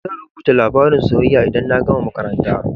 Zan rubuta labarin soyayya idan na gama makaranta.